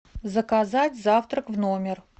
заказать завтрак в номер